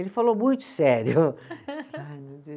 Ele falou muito sério. Ai meu